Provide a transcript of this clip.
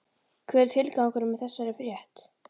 Hver er tilgangurinn með þessari frétt?